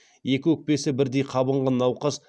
екі өкпесі бірдей қабынған науқас